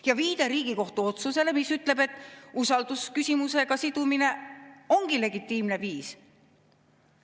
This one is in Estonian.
" Ja viide Riigikohtu otsusele, mis ütleb, et usaldusküsimusega sidumine ongi legitiimne viis.